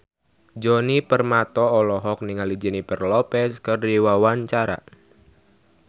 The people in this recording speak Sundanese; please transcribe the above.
Djoni Permato olohok ningali Jennifer Lopez keur diwawancara